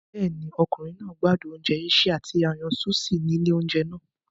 Bẹ́ẹ̀ni, ọkùnrin náà gbádùn oúnjẹ Asia tí a yàn sushi ní ilé oúnjẹ náà.